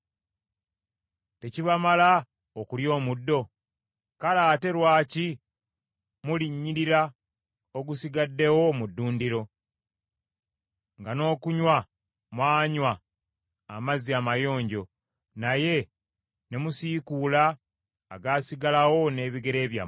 Tekibamala okulya omuddo? Kale ate lwaki mulinnyirira ogusigaddewo mu ddundiro, nga n’okunywa mwanywa amazzi amayonjo, naye ne musiikuula agaasigalawo n’ebigere byammwe!